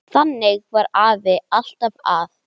Þannig var afi, alltaf að.